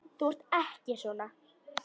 Þú ert ekki svona.